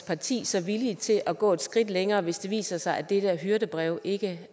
parti så villige til at gå et skridt længere hvis det viser sig at det her hyrdebrev ikke